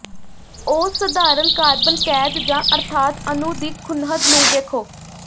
ਉਹ ਸਧਾਰਨ ਕਾਰਬਨ ਕੈਦ ਜ ਅਰਥਾਤ ਅਣੂ ਦੀ ਖੂੰਹਦ ਨੂੰ ਵੇਖੋ